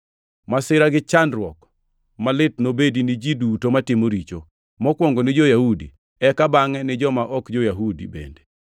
Masira gi chandruok malit nobedi ni ji duto matimo richo, mokwongo ni jo-Yahudi, eka bangʼe ni joma ok jo-Yahudi bende;